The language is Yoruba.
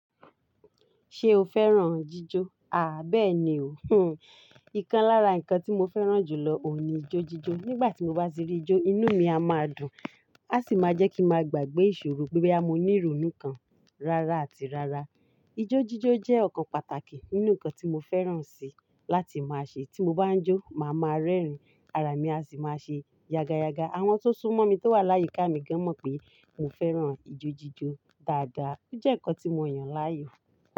Ṣé o fẹ́ràn jíjó? Bẹ́ẹ̀ni o. Ikán lára nǹkan tí mo fẹ́ràn jù lọ òun ní ijójíjó. Nígbà tí mo bá sírí jó, inú mi á máa dùn, á sì máa jẹ́ kí mo gbàgbé ìṣòro pé bẹ́ẹ̀ a máa ní ìrònú kan rárá àti rárá. Ijójíjó jẹ́ ọ̀kan pàtàkì nínú nǹkan tí mo fẹ́ràn sì láti máa ṣe. Tí mo bá ń jó, màá máa rẹ́rìn-ín, ara mi a sì máa ṣe yaga yaga. Àwọn tó sún mọ́ mi tó wà láyé ká mi gan mọ̀ pé mo fẹ́ràn ijójíjó dáadáa. Ó jẹ́ nǹkan tí mo yàn láàyò.